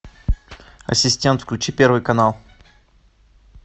ассистент включи первый канал